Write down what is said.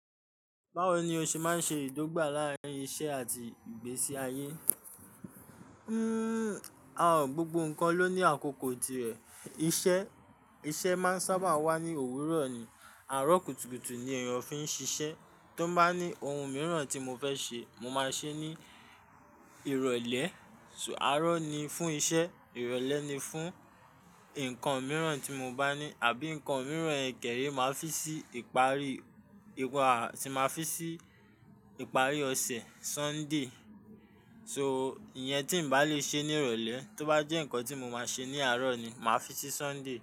Báwo ni o ṣe máa ń ṣe ìdọ́gba láàárín iṣẹ́ àti ìgbésí ayé? Hmm, àán, gbogbo nǹkan ló ní àkókò tirẹ̀. Iṣẹ́, iṣẹ́ máa ń sábà wá ní òwúrọ̀ ni, àárọ̀ kùtùkùtù ni èèyàn fi ń ṣiṣẹ́. Tó bá ní ohun mìíràn tí mo fẹ́ ṣe, mo máa ṣe é ní ìrọ̀lẹ́. So àárọ̀ ni fún iṣẹ́, ìrọ̀lẹ́ ni fún nǹkan mìíràn tí mo bá ní. Àbí nǹkan mìíràn, ẹ̀kẹ́rẹ́, màá fi sí ìparí, ìparí, tí màá fi sí ìparí ọ̀sẹ̀, Sunday. So iye tí ǹ bá lè ṣe ní ìrọ̀lẹ́, tó bá jẹ́ nǹkan tí mo máa ṣe ní àárọ̀ ni, màá fi sí Sunday.